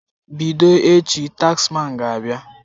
Bido echi, taxman ga-abịa.